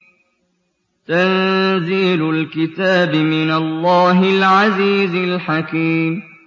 تَنزِيلُ الْكِتَابِ مِنَ اللَّهِ الْعَزِيزِ الْحَكِيمِ